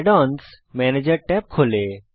add অন্স ম্যানেজের tab খোলে